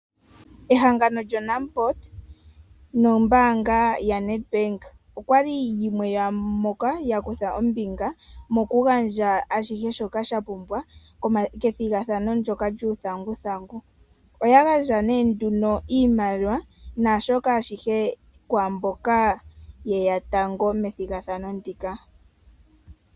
Ehangano lyoNamport nombaaanga yaNedBank okwali yimwe yomwaamboka ya kutha ombinga mokugandja ashihe shoka sha pumbiwa kethigathano ndyoka lyuuthanguthangu. Oya gandja nee nduno iimaliwa naashoka ashihe kwaamboka yeya tango methigathano ndika.